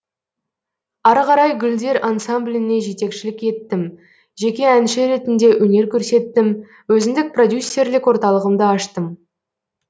ары қарай гүлдер ансамбліне жетекшілік еттім жеке әнші ретінде өнер көрсеттім өзіндік продюсерлік орталығымды аштым